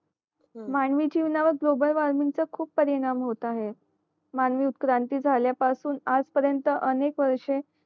मानवी जीवनावर ग्लोबल वार्मिंचा खूप परिणाम होत आहे मानवी उत्क्रांती झाल्या पासून आज पर्यंत अनेक वर्षे